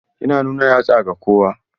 Yana nuna yatsa ga kowa.